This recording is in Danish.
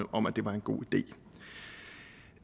om at det var en god idé